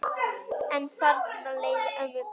En þarna leið ömmu best.